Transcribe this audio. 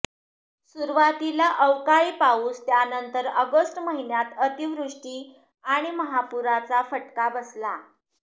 सुरुवातीला अवकाळी पाऊस त्यानंतर ऑगस्ट महिन्यात अतिवृष्टी आणि महापुराचा फटका बसला